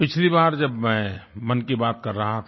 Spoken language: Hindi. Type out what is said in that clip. पिछली बार जब मैं मन की बात कर रहा था